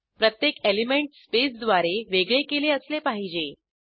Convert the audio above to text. प्रत्येक एलिंमेंट स्पेसद्वारे वेगळे केले असले पाहिजे